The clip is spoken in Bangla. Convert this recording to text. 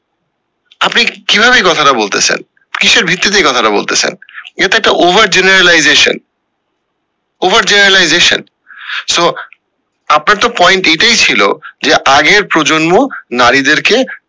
আপনি কি ভাবে এই কথা টা বলতেসেন কিসের ভিত্তি তে এইকথা টা বলতেসেন? এটা একটা over generalization over generalization so আপনার তো point এটাই ছিল যে আগের প্রজন্ম নারীদের কে।